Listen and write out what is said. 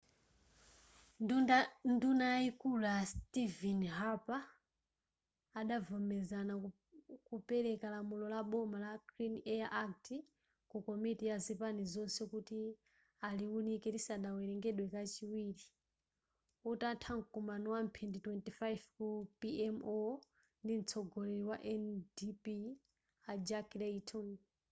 nduna yayikulu a stephen harper adavomeraza kupereka lamulo la boma la clean air act' ku komiti ya zipani zonse kuti aliwunike lisadawerengedwe kachiwiri utatha mkumano wamphindi 25 ku pmo ndi mtsogoleri wa ndp a jack layton